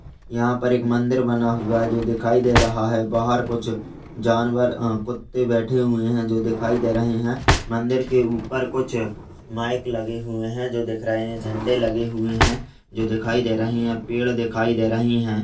यहाँ पर एक मंदिर बना हुआ है जो दिखाई दे रहा हैबाहर कुछ जानवर अ कुत्ते बैठे हुए है जो दिखाई दे रहे हैं। मंदिर के ऊपर कुछ माइक लगे हुए है जो दिख रहे है झंडे लगे हुए हैं जो दिखाई दे रहे है पेड़ दिखाई दे रहे हैं |